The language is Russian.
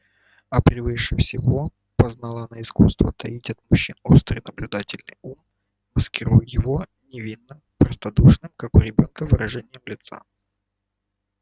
а превыше всего познала она искусство таить от мужчин острый наблюдательный ум маскируя его невинно-простодушным как у ребёнка выражением лица